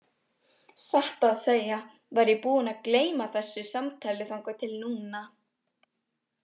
Satt að segja var ég búinn að gleyma þessu samtali þangað til núna.